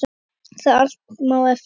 Um það allt má efast.